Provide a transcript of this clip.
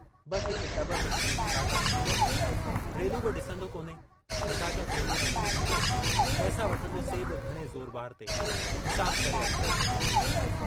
बस हिक टब में खणी फटाका भरींदो आहियां, रेलू बि ॾिसंदो कोन्हे, फटाका थेल्हीअ में भरे ॾींदो, पैसा वठंदो से बि घणे ज़ोरबार ते, हिसाब करे अटकल ते।